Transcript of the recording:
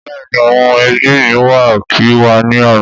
Bẹ́ẹ̀ni, àwọn ẹbí mi wá kí wa ní àná.